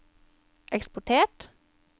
eksportert